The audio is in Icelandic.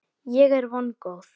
Ég er vongóð.